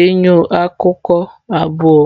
enyo akụkụ abụọ.